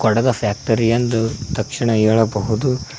ಡದ factory ಎಂದು ತಕ್ಷಣ ಹೇಳಬಹುದು.